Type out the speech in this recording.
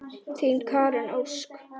Þín Karen Ósk.